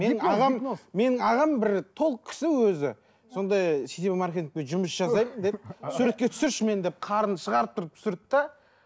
менің ағам менің ағам бір толық кісі өзі сондай сетевой маркетингпен жұмыс жасаймын деді суретке түсірші мені деп қарнын шығарып тұрып түсірді де